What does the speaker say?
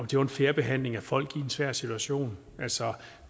det var en fair behandling af folk i en svær situation altså